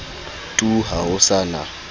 tu ha ho sa na